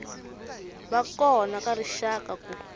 va kona ka rixaka ku